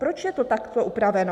Proč je to takto upraveno?